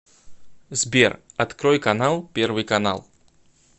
сбер открой канал первый канал